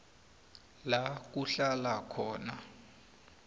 la kuhlala khona